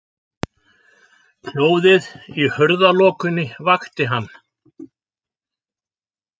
Hljóðið í hurðarlokunni vakti hann.